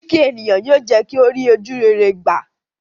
Kíkí ènìyàn yóò jẹ́ kí ó rí ojúrere gbà.